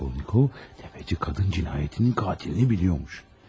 Raskolnikov, sələmçi qadın cinayətinin qatilini bilirmiş.